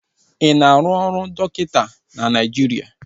Ị na-arụ ọrụ dọkịta na Naịjiria?